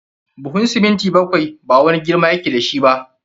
Buhun siminti bakwai ba wani girma ya ke da shi ba.